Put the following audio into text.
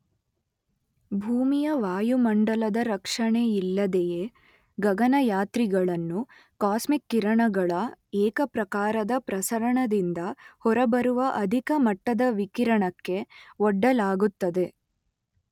ಭೂಮಿಯ ವಾಯುಮಂಡಲದ ರಕ್ಷಣೆಯಿಲ್ಲದೆಯೇ ಗಗನಯಾತ್ರಿಗಳನ್ನು ಕಾಸ್ಮಿಕ್ ಕಿರಣಗಳ ಏಕಪ್ರಕಾರದ ಪ್ರಸರಣದಿಂದ ಹೊರಬರುವ ಅಧಿಕ ಮಟ್ಟದ ವಿಕಿರಣಕ್ಕೆ ಒಡ್ಡಲಾಗುತ್ತದೆ.